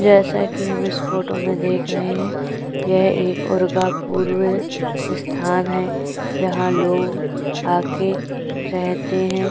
जैसा कि हम इस फोटो में देख रहै हैं यह एक उर्गा पूर्व स्थान है जहाँ लोग आके रहते हैं।